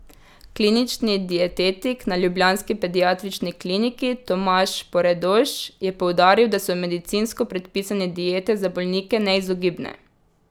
Klinični dietetik na ljubljanski pediatrični kliniki Tomaž Poredoš je poudaril, da so medicinsko predpisane diete za bolnike neizogibne.